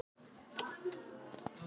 Andri Ólafsson: Af hverju ekki?